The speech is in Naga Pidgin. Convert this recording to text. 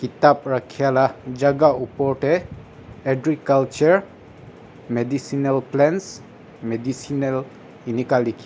kitap raka la ka jhaka opor tey agriculture medicinal plants medicinal eneka li khe.